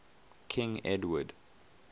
king edward